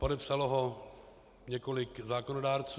Podepsalo ho několik zákonodárců.